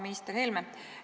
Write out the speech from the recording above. Minister Helme!